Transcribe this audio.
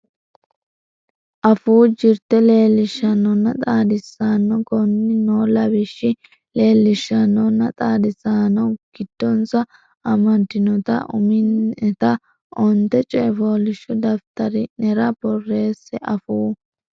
Afuu Jirte Leellishaanonna Xaadisaano Koonni noo lawishshi leellishaanonna xaadisaano giddonsa amaddinota umi neta onte coy fooliishsho daftari nera borreesse Afuu.